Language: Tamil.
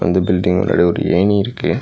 அந்த பில்டிங் முன்னாடி ஒரு ஏணி இருக்கு.